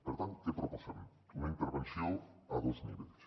per tant què proposem una intervenció a dos nivells